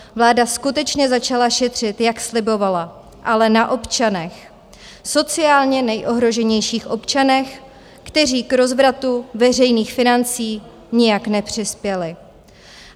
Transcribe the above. Vláda skutečně začala šetřit, jak slibovala, ale na občanech, sociálně nejohroženějších občanech, kteří k rozvratu veřejných financí nijak nepřispěli.